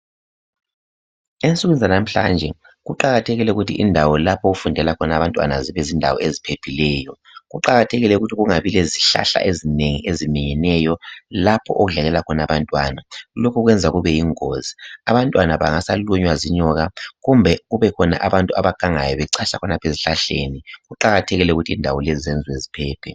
Ensukwini zanamhlanje kuqakathekile ukuthi indawo lapho okufundela khona abantwana zibe zindawo eziphephileyo. Kuqakathekile ukuthi kungabi lezihlahla ezinengi eziminyeneyo lapho okudlalela khona abantwana. Lokhu kwenza kube yingozi, abantwana bangasa lunywa zinyoka kumbe kube khona abantu abagangayo becatsha khonapho ezihlahleni. Kuqakathekile ukuthi indawo lezi zenziwe ziphephe.